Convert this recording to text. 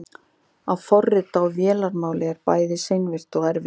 að forrita á vélarmáli er bæði seinvirkt og erfitt